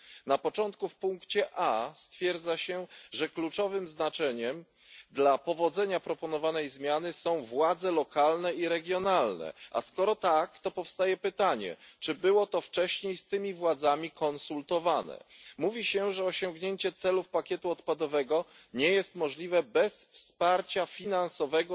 Na początku, w motywie A stwierdza się, że kluczowe znaczenie dla powodzenia proponowanej zmiany mają władze lokalne i regionalne. A skoro tak, to powstaje pytanie, czy było to wcześniej z tymi władzami konsultowane? Mówi się, że osiągnięcie celów pakietu odpadowego nie jest możliwe bez wsparcia finansowego